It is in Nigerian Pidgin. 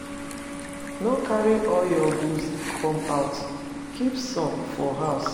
No carry all your goods come out, keep some for house